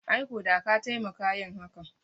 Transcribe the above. Ai ko da ka taimaka yin hakan